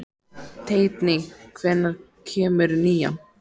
Teitný, hvenær kemur nían?